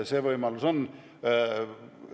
See võimalus on.